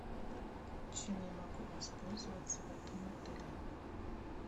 чем я могу воспользоваться в этом отеле